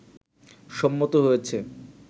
সম্মত হয়েছে